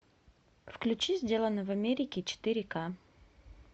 включи сделано в америке четыре ка